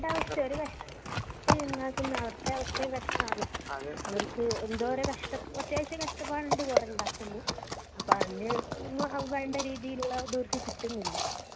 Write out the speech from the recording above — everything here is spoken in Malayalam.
അവരുടെ അവസ്ഥയും അവര് കഷ്ടപ്പെട്ട് ഉണ്ടാക്കുന്ന അവരുടെ അവസ്ഥയും കഷ്ടാണു അവർക്കു എന്തോരം കഷ്ടാണു കാഷ് അത്യാവശ്യം കഷ്ടപ്പാടുണ്ട് കുറെ ഉണ്ടാക്കുമ്പോ അപ്പോ അതിനു വേണ്ട രീതിലുള്ള ഒരു ഇത് ഓർക്കു കിട്ടുന്നില്ല